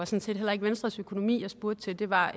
set heller ikke venstres økonomi jeg spurgte til det var